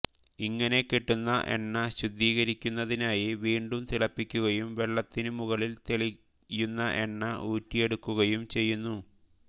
ഇങ്ങനെ കിട്ടുന്ന എണ്ണ ശുദ്ധീകരിക്കുന്നതിനായി വീണ്ടും തിളപ്പിക്കുകയും വെള്ളത്തിനു മുകളിൽ തെളിയുന്ന എണ്ണ ഊറ്റിയെടുക്കുകയും ചെയ്യുന്നു